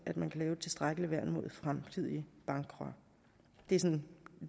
man kan lave et tilstrækkeligt værn mod fremtidige bankkrak det er sådan